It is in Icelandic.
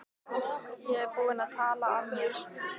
Ég er búinn að tala af mér.